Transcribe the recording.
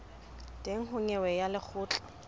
teng ho nyewe ya lekgotla